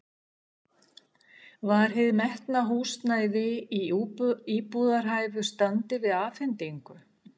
Var hið metna húsnæði í íbúðarhæfu standi við afhendingu?